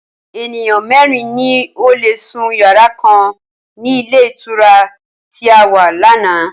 Ènìyàn mẹ́ẹ́rin ni ó lé sún yàrá kan ni ilé ìtura tí a wà láánaà